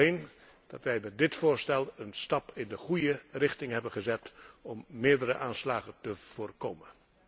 Ik denk alleen dat wij met dit voorstel een stap in de goede richting hebben gezet om meerdere aanslagen te voorkomen.